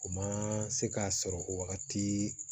O ma se k'a sɔrɔ o wagati